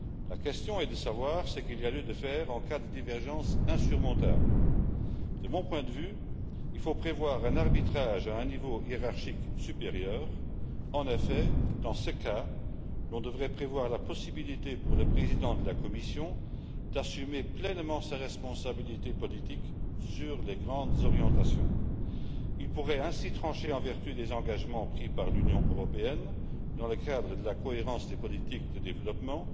la question est de savoir ce qu'il y a lieu de faire en cas de divergence insurmontable. De mon point de vue, il faut prévoir un arbitrage à un niveau hiérarchique supérieur en effet, dans ce cas, on devrait prévoir la possibilité pour le président de la Commission d'assumer pleinement sa responsabilité politique sur les grandes orientations. Il pourrait ainsi trancher en vertu des engagements pris par l'Union européenne dans le cadre de la cohérence des politiques au service du développement.